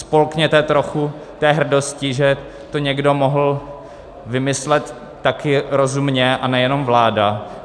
Spolkněte trochu té hrdosti, že to někdo mohl vymyslet také rozumně, a nejenom vláda.